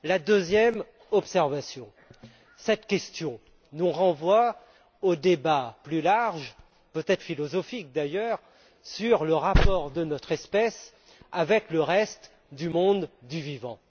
Deuxièmement, cette question nous renvoie au débat plus large peut être philosophique, d'ailleurs sur le rapport de notre espèce avec le reste du monde du vivant.